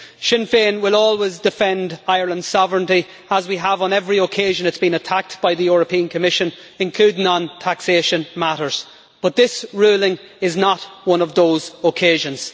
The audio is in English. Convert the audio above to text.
Sinn Féin will always defend Ireland's sovereignty, as we have on every occasion when it's been attacked by the European Commission, including on taxation matters, but this ruling is not one of those occasions.